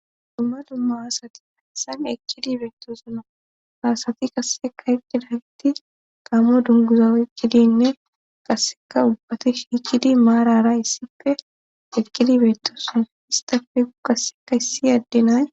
dumma dumma asati hessan ekkidi beettosuna haasati kasseka eqqida ytti taamo dunguza ekkidinne kasseka ubbate shiikidi maarara issife eqqidi beettosona histafe u kaseka issi addenay